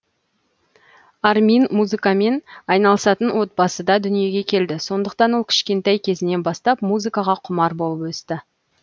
армин музыкамен айналысатын отбасыда дүниеге келді сондықтан ол кішкентай кезінен бастап музыкаға құмар болып өсті